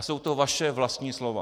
A jsou to vaše vlastní slova.